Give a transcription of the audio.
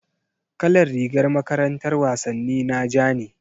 Kalar rigar makarantar wasanni na ja ne.